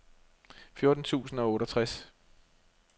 fjorten tusind og otteogtres